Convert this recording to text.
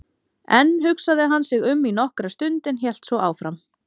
Enn hugsaði hann sig um í nokkra stund en hélt svo áfram